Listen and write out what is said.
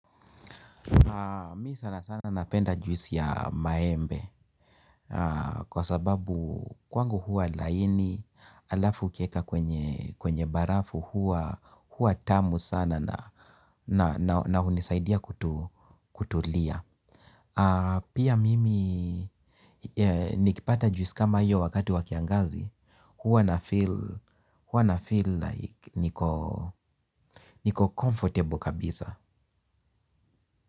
Mi sana sana napenda juisi ya maembe. Kwa sababu kwangu huwa laini halafu ukieka kwenye barafu huwa tamu sana na hunisaidia kutulia. Pia mimi nikipata juisi kama hiyo wakati wa kiangazi huwa na feel like niko comfortable kabisa.